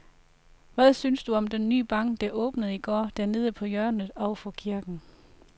Hvad synes du om den nye bank, der åbnede i går dernede på hjørnet over for kirken?